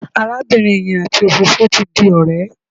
Arábìnrin yẹn àti òfófó ti di ọ̀rẹ́.